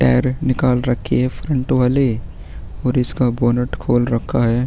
Tyre निकाल रखी है फ्रंट वाले और इसका बोनॉट खोल रखा है।